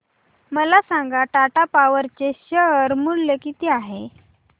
मला सांगा टाटा पॉवर चे शेअर मूल्य किती आहे